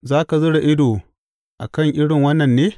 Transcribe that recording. Za ka zura ido a kan irin wannan ne?